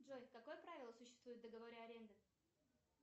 джой какое правило существует в договоре аренды